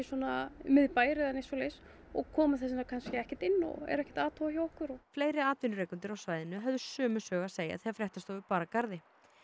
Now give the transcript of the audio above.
miðbær eða neitt svoleiðis og koma þess vegna kannski ekkert inn og eru ekkert að athuga hjá okkur fleiri atvinnurekendur á svæðinu höfðu sömu sögu að segja þegar fréttastofu bar að garði